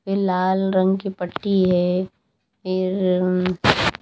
वे लाल रंग की पट्टी है फिर उम्म--